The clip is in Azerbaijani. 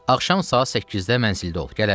Axşam saat 8-də mənzildə ol, gələrəm.